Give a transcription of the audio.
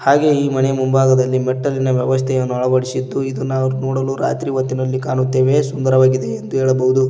ಹಾಗೆ ಈ ಮನೆ ಮುಂಭಾಗದಲ್ಲಿ ಮೆಟ್ಟಲಿನ ವ್ಯವಸ್ಥೆ ಅಳವಡಿಸಿದ್ದು ಇದು ನಾವು ನೋಡಲು ರಾತ್ರಿ ಹೊತಿನಲ್ಲಿ ಕಾಣುತತ್ತೇವೆ ಸುಂದರವಾಗಿದೆ ಎಂದು ಹೇಳಬಹುದು.